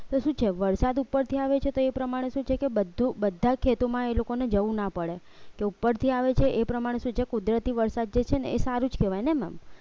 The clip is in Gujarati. તો શું છે વરસાદ ઉપરથી આવે છે તે પ્રમાણે શું છે કે બધું બધા ખેતોમાં એ લોકોને જવું ના પડે કે ઉપરથી આવે છે એ પ્રમાણે સૂ કુદરતી વરસાદ જે છે ને એ સારું જ કહેવાય ને maam